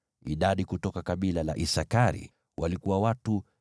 Idadi kutoka kabila la Isakari walikuwa watu 54,400.